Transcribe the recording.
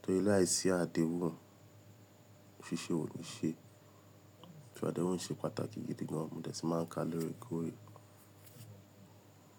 torí láìsí àdéhùn, ṣíṣe ò ní ṣe. Torí àdéhùn ṣe pàtàkì gidi gan, mo dẹ̀ si máa ń ka lóòrèkóòrè.